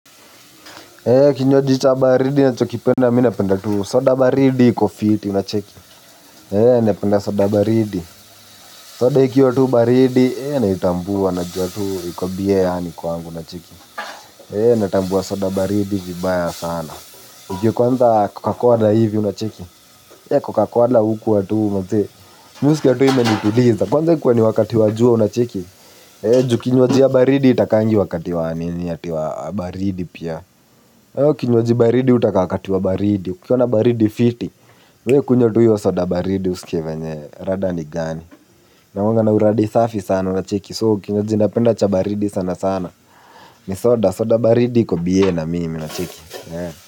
Kinywaji cha baridi nachokipenda minapenda tu soda baridi iko fiti unacheki napenda soda baridi. Soda ikiwa tu baridi naitambua najua tu iko bie yaani kwangu unacheki na tambua soda baridi vibaya sana ikiwa kwanza cocacola hivi unacheki cocacola hukuwa tu manze. Mihuskia tu imenituliza. Kwanza ikue ni wakati wa jua unacheki ju kinywaji ya baridi haitakangi wakati wa nini ati wa baridi pia. Kinywaji baridi hutaka wakati wa baridi. Kukiwa na baridi fiti. We kunywa tu hiyo soda baridi usikie venye rada ni gani. Inakuanga na uradi safi sana unacheki. So kinywaji napenda cha baridi sana sana. Ni soda soda baridi iko bie na mimi unacheki.